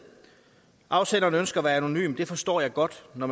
afsenderen ønsker at være anonym det forstår jeg godt når